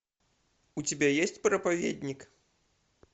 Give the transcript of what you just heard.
у тебя есть проповедник